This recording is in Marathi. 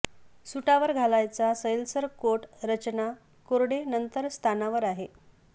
सुटावर घालायचा सैलसर कोट रचना कोरडे नंतर स्थानावर आहे